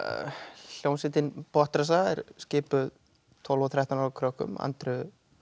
hljómsveitin Botnrassa er skipuð tólf og þrettán ára krökkum Andreu